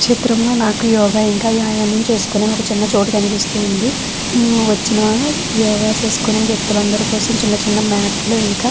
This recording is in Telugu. చిత్రం లో నాకు యోగ ఇంకా వ్యాయాయం చేసుకొనే ఒక చిన్న చోటు కనిపిస్తుంది హ్మ్ వచ్చినా యోగ చేసుకొనే వ్యక్తులు అందరి కోసం చిన్న చిన్న మ్యాట్లు ఇంకా--